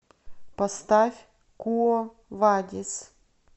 поставь куо вадис